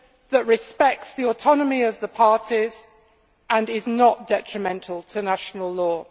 that respects the autonomy of the parties and is not detrimental to national law.